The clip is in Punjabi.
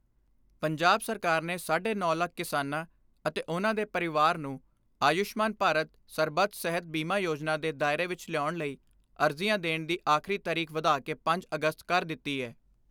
ਪੰਜਾਬ ਸਰਕਾਰ ਨੇ ਸਾਢੇ ਨੌ ਲੱਖ ਕਿਸਾਨਾਂ ਅਤੇ ਉਨ੍ਹਾਂ ਦੇ ਪਰਿਵਾਰ ਨੂੰ ਆਯੁਸ਼ਮਾਨ ਭਾਰਤ ਸਰਬੱਤ ਸਿਹਤ ਬੀਮਾ ਯੋਜਨਾ ਦੇ ਦਾਇਰੇ ਵਿਚ ਲਿਆਉਣ ਲਈ ਅਰਜੀਆਂ ਦੇਣ ਦੀ ਆਖਰੀ ਤਾਰੀਖ ਵਧਾ ਕੇ ਪੰਜ ਅਗਸਤ ਕਰ ਦਿੱਤੀ ਏ।